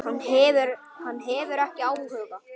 Hann hefur ekki áhuga.